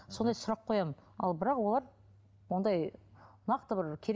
сондай сұрақ қоямын ал бірақ олар ондай нақты бір